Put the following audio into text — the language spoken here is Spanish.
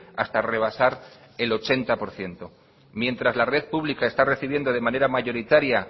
hasta rebasar el ochenta por ciento mientras la red pública está recibiendo de manera mayoritaria